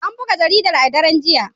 An buga jaridar a daren jiya.